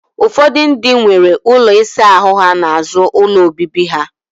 Ufodu ndi nworo ulo isa ahu ha n'azu ulo obibi ha.